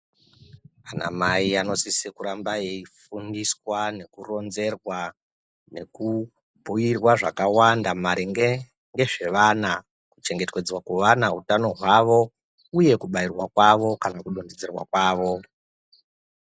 Ana Mai anosisa kuramba eifundiswa nekuronzerwa nekubhiirwa zvakawanda maringe nezvevana. Kuchengetedzwa kwevana, utano hwavo uye kubairwa kwavo kana kudonhedzerwa kwavo.